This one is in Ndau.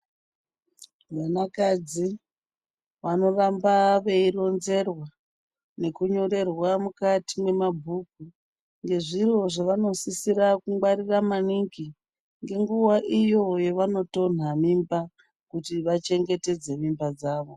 Vanakadzi vanoramba veironzerwaa nekunyorerwa mukati memabhuku ngezviro zvavanosisira kungwarira maningi, ngenguva iyo yavanotonha mimba kuti vachengetedze mimba dzavo.